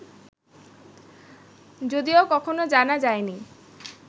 যদিও কখনও জানা যায়নি